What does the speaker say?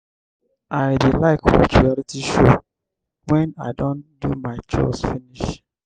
i dey like watch reality show wen i don do my chores finish.